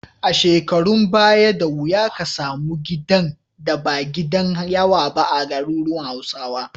A shekarun baya, da wuya ka samu gidan da ba gidan yawa ba a garuruwan Hausawa.